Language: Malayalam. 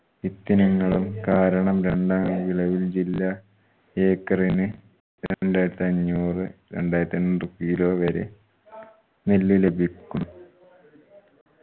വിത്തിനങ്ങളും കാരണ വിളവിൽ ജില്ല ഏക്കറിന് രണ്ടായിരത്തി അഞ്ഞൂറ് രണ്ടായിരത്തി അഞ്ഞൂറ് kilo വരെ നെല്ല് ലഭിക്കും.